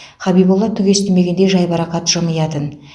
хабиболла түк естімегендей жайбарақат жымиятын